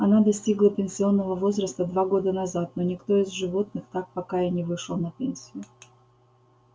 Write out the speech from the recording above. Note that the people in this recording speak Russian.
она достигла пенсионного возраста два года назад но никто из животных так пока и не вышел на пенсию